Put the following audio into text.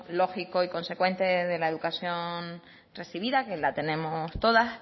lógico y consecuente de la educación recibida que la tenemos todas